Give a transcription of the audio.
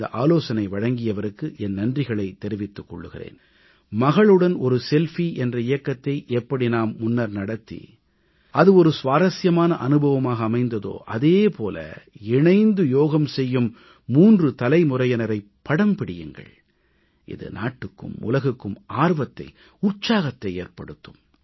இந்த ஆலோசனை வழங்கியவருக்கு என் நன்றிகளைத் தெரிவித்துக் கொள்கிறேன் மகளுடன் செல்ஃபி என்ற இயக்கத்தை எப்படி நாம் முன்னர் நடத்தி அது சுவாரசியமான அனுபவமாக அமைந்ததோ அதே போல இணைந்து யோகம் செய்யும் 3 தலைமுறையினரைப் படம் பிடியுங்கள் இது நாட்டுக்கும் உலகுக்கும் ஆர்வத்தை உற்சாகத்தை ஏற்படுத்தும்